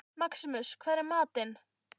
Maximus, hvað er í matinn?